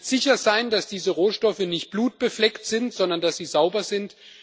Ihr könnt jetzt sicher sein, dass diese Rohstoffe nicht blutbefleckt sind, sondern dass sie sauber sind.